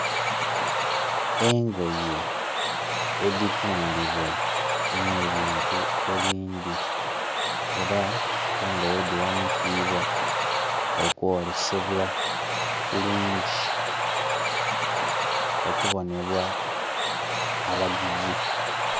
Engoye edhitundhibwa ne bintu ebindhi era engoye dhi ghanikibwa okwolesebwa bulungi okubonebwa abaguzi.